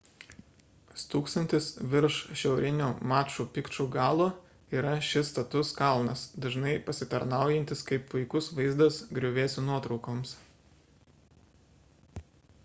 stūksantis virš šiaurinio maču pikču galo yra šis status kalnas dažnai pasitarnaujantis kaip puikus vaizdas griuvėsių nuotraukoms